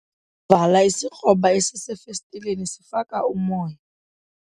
Vala isikroba esisefestileni sifaka umoya.